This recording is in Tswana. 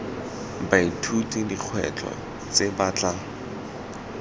baithuti dikgwetlho tse ba tla